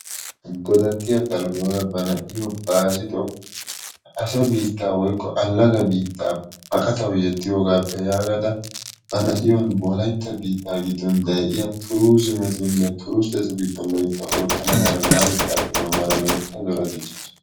Godattiya Baalota ba na'iyo Baazzito asa biittaa woykko allaga biittaa baqatawu yeddiyogaappe yaagada ba na'iyo Wolaytta biittan de'iya turuuzimetunne turusttetu giddon loytta oottana mala na'atettaappe doommada loytta zora dichchaasu.